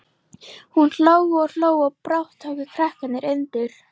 Hún hló og hló og brátt tóku krakkarnir undir.